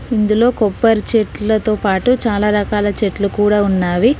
ఇందులో కొబ్బరి చెట్లతో పాటు చాలా రకాల చెట్లు కూడా ఉన్నావి.